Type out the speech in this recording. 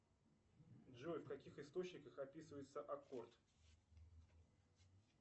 джой в каких источниках описывается аккорд